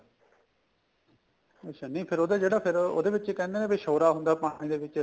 ਅੱਛਾ ਨੀ ਫੇਰ ਉਹ ਤਾਂ ਜਿਹੜਾ ਉਹਦੇ ਵਿੱਚ ਕਹਿਨੇ ਏ ਸ਼ੋਰਾ ਹੁੰਦਾ ਪਾਣੀ ਦੇ ਵਿੱਚ